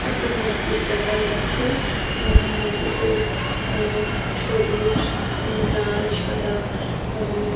একটা মসজিদ দেখা যাচ্ছে। অ্যা মসজিদে অ্যা সবুজ হুম লাল সাদা রঙের ।